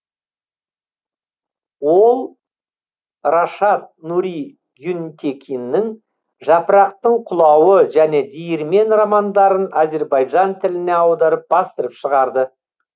ол рашад нури гюнтекиннің жапырақтың құлауы және диірмен романдарын азербайжан тіліне аударып бастырып шығарды